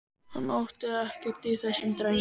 Hann átti ekkert í þessum dreng.